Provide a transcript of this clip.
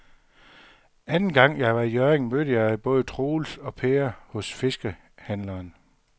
Anden gang jeg var i Hjørring, mødte jeg både Troels og Per hos fiskehandlerne.